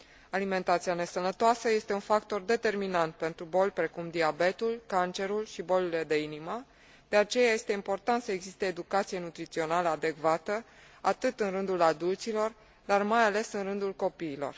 Alimentația nesănătoasă este un factor determinant pentru boli precum diabetul, cancerul și bolile de inimă, de aceea este important să existe educație nutrițională adecvată, atât în rândul adulților, dar mai ales în rândul copiilor.